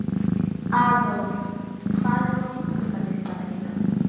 Aðólf, hvað er á innkaupalistanum mínum?